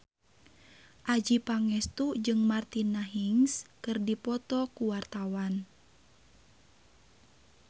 Adjie Pangestu jeung Martina Hingis keur dipoto ku wartawan